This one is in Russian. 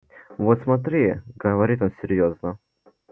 вот смотри говорит он серьёзно